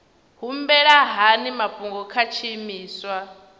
humbela hani mafhungo kha tshiimiswa